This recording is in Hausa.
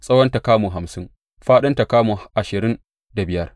Tsawonta kamu hamsin, fāɗinta kuma kamu ashirin da biyar.